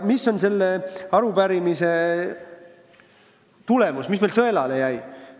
Mis on selle arupärimise tulemus, mis meil sõelale jäi?